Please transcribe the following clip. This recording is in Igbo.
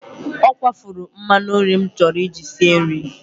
Ọ kwafuru mmanụ nri m chọrọ iji sie nri.